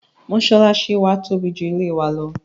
mọ́sálásí wa tóbi ju ilé ìjọ́sìn wa lọ.